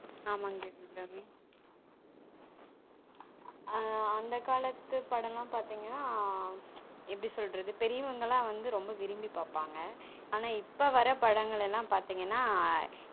அஹ் அந்த காலத்து படம் லன் பாதீங்கனா எப்டி சொல்றது பெரியவங்க எல்லான் வந்து விரும்பி பாபாங்க ஆனா இப்பொ வர்ர படங்கள் எல்லாம் பாத்தீங்கனா ஆமாங்க தேவி அபிராமி